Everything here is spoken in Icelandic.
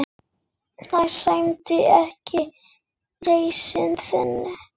Það sæmdi ekki reisn þinni.